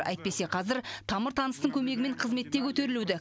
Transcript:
әйтпесе қазір тамыр таныстың көмегімен қызметте көтерілуді